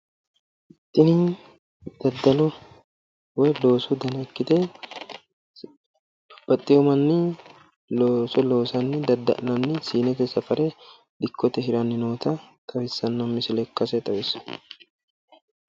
Tini daddalo woy loosu dana ikkite baxxino manni looso loosanni dadda'lanni siinete safare dikkote hiranni noota xawissanno.